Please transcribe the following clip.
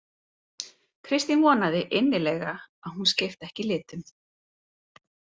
Kristín vonaði innilega að hún skipti ekki litum.